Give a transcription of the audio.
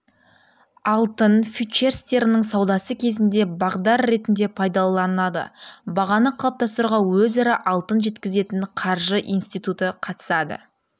алтын фьючерстерінің саудасы кезінде бағдар ретінде пайдаланылады бағаны қалыптастыруға өзара алтын жеткізетін қаржы институты қатысады